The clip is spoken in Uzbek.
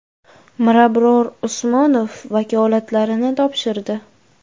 Mirabror Usmonov vakolatlarini topshirdi.